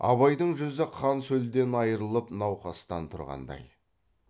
абайдың жүзі қан сөлден айрылып науқастан тұрғандай